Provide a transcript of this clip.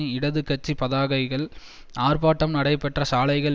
இடது கட்சி பதாகைகள் ஆர்ப்பாட்டம் நடைபெற்ற சாலைகள்